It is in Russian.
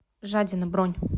жадина бронь